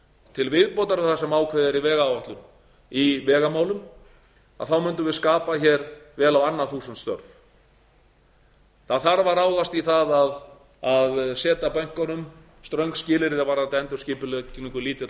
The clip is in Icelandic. til viðbótar við það sem ákveðið er í vegáætlun í vegamálum þá mundum við skapa vel á annað þúsund störf það þarf að ráðast í það að setja bönkunum ströng skilyrði varðandi endurskipulagningu lítilla og